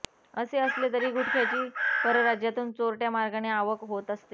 असे असले तरी गुटख्याची परराज्यातून चोरटय़ा मार्गाने आवक होत असते